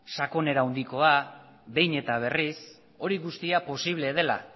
sakonera handikoan behin eta berriz hori guztia posible dela